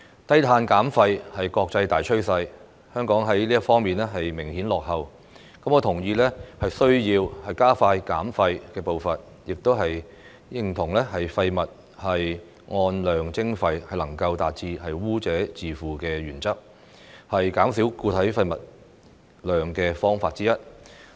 低碳減廢是國際大趨勢，香港在這方面明顯落後，我同意需要加快減廢步伐，亦認同廢物按量徵費能夠達致污者自負的原則，是減少固體廢物量的方法之一。